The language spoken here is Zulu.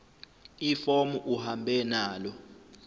ifomu uhambe nalo